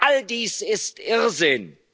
drucken. All dies